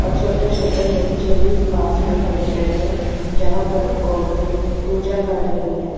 और छोटे छोटे बच्चे भी पास में खड़े हुए है जहां पर औरतें पूजा कर रहे हैं।